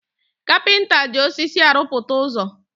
Kapịnta ji osisi arụpụta ụzọ́